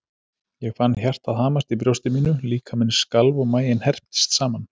Ég fann hjartað hamast í brjósti mínu, líkaminn skalf og maginn herptist saman.